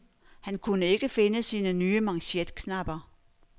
Han kunne ikke finde sine nye manchetknapper.